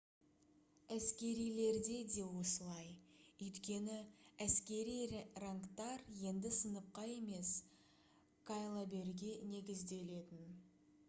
әскерилерде де осылай өйткені әскери рангтар енді сыныпқа емес кайлаберге негізделетін